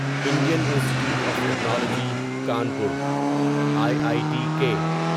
Indian institute of technology Kanpur I I T کے